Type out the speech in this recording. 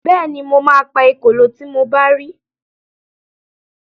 Bẹ́ẹ̀ni, mo ma pa ekòló tí mo bá ri